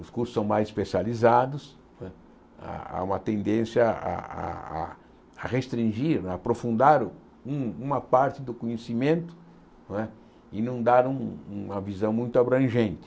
Os cursos são mais especializados não é, há uma tendência a a a a restringir, a aprofundar um uma parte do conhecimento não é e não dar um uma visão muito abrangente.